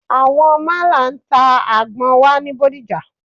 Àwọn málà ń ta àgbọn wà ní Bódìjà.